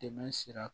Dɛmɛ sira